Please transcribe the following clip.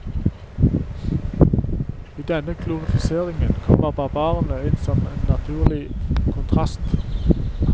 I denne glorifiseringen kommer barbarene inn som en naturlig kontrast.